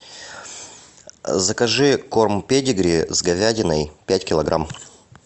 закажи корм педигри с говядиной пять килограмм